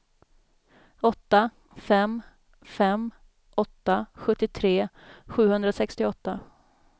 åtta fem fem åtta sjuttiotre sjuhundrasextioåtta